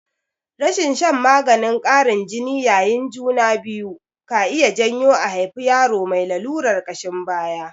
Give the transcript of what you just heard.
Rashin shan maganin ƙarin jini yayin juna biyu ka iya janyo a haifi yaro mai lalurar ƙashin baya.